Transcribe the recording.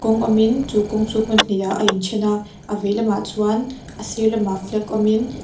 kawng awm in chu kawng chu hmun hnihah a inthen a a vei lamah chuan a sir lamah flag awm in--